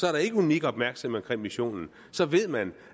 er der ikke unik opmærksomhed omkring missionen så ved man